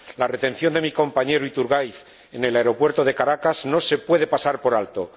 La retención de mi compañero Iturgaiz en el aeropuerto de Caracas no se puede pasar por alto.